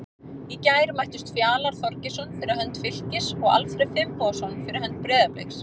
Í gær mættust Fjalar Þorgeirsson fyrir hönd Fylkis og Alfreð Finnbogason fyrir hönd Breiðabliks.